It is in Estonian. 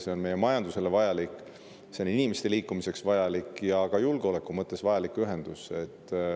See on meie majandusele vajalik, inimeste liikumiseks vajalik ja ka julgeoleku mõttes vajalik ühendus.